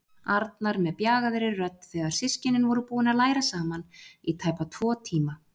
Arnar með bjagaðri rödd þegar systkinin voru búin að læra saman í tæpa tvo tíma.